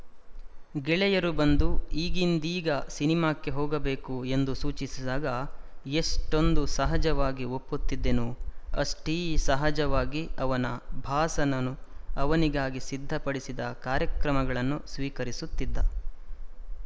ಗೆಳೆಯರು ಬಂದು ಈಗಿಂದೀಗ ಸಿನೇಮಾಕ್ಕೆ ಹೋಗಬೇಕು ಎಂದು ಸೂಚಿಸಿದಾಗ ಎಷೆ್ಟೂಂದು ಸಹಜವಾಗಿ ಒಪ್ಪುತ್ತಿದ್ದನೋ ಅಷೆ್ಟೀ ಸಹಜವಾಗಿ ಅವನ ಬಾಸನು ಅವನಿಗಾಗಿ ಸಿದ್ಧಪಡಿಸಿದ ಕಾರ್ಯಕ್ರಮಗಳನ್ನು ಸ್ವೀಕರಿಸುತ್ತಿದ್ದ